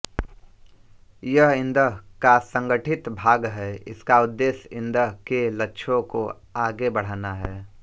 यह इदं का संगठित भाग है इसका उद्देश्य इदं के लक्ष्यों को आगे बढ़ाना है